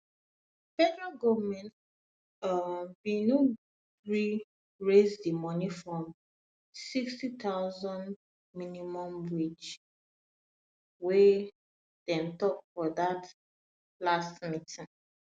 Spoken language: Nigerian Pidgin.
federal goment um bin no gree raise di moni from n60000 minimum wage wey dem tok for dia last meeting